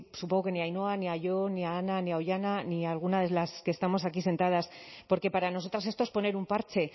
supongo que ni a ainhoa ni a jon ni a ana ni a oihana ni a alguna de las que estamos aquí sentadas porque para nosotras esto es poner un parche